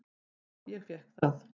"""Já, ég fékk það."""